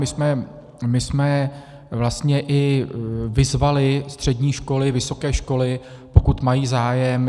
My jsme vlastně i vyzvali střední školy, vysoké školy, pokud mají zájem.